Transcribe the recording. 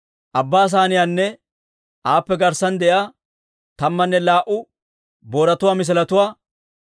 Abbaa Saaniyaanne aappe garssan de'iyaa, tammanne laa"u booratuwaa misiletuwaa,